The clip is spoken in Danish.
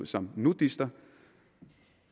som nudister